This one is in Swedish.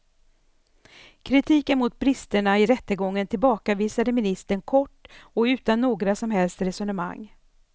Kritiken mot bristerna i rättegången tillbakavisade ministern kort och utan några som helst resonemang.